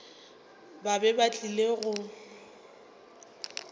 ba be ba tlile go